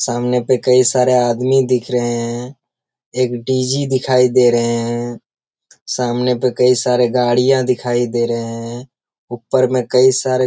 सामने पे कई सारे आदमी दिख रहे है एक डी.जी. दिखाई दे रहे है सामने पे कई सारे गाड़ियां दिखाई दे रहे है ऊपर में कई सारे --